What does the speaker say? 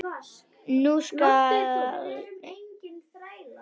Nú skrifa ég bara bréf!